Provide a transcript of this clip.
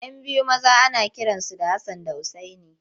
Yan biyu maza ana kiransu da Hassan da Usaini.